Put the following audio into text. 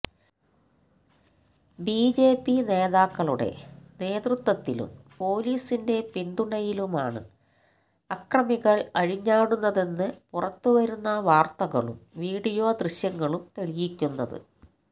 BJP നേതാക്കളുടെ നേതൃത്വത്തിലും പോലീസിന്റെ പിന്തുണയിലുമാണ് അക്രമികള് അഴി ഞ്ഞാടുന്നതെന്ന് പുറത്തു വരുന്ന വാര്ത്തകളും വീഡിയോ ദൃശ്യങ്ങളും തെളിയിക്കുന്നത്